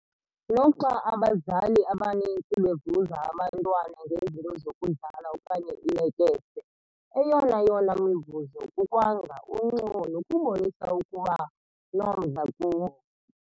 Noxa abazali abaninzi bevuza abantwana ngezinto zokudlala okanye iilekese, eyonayona mivuzo kukwanga, uncumo nokubonisa ukuba nomdla kuwo.